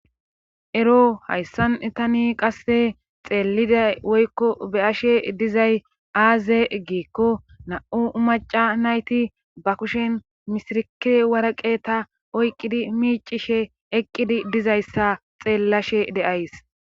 ero hayssan itani qasse xeelliday woykko beyashe dizay aaze giikko na7u maca nayti ba kushen misirkie waraqe ta oyqqidi miicishe eqqidi dizayssa xeellashe de'ays